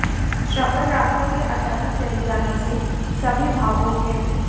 श्रवण राठौड़ के अचानक चले जाने से सभी भावुक हैं